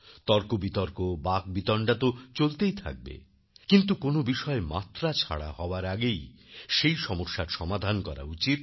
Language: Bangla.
তর্কবিতর্ক বাকবিতণ্ডা তো চলতেই থাকবে কিন্তু কোন বিষয় মাত্রাছাড়া হওয়ার আগেই সেই সমস্যার সমাধান করা উচিত